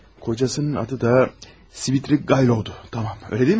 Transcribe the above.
Ərinin adı da Svidrigailov idi, tamam, elə deyilmi?